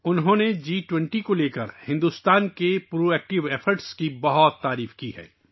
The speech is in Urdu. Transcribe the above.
انہوں نے جی 20 کے حوالے سے بھارت کی فعال کوششوں کی بہت تعریف کی ہے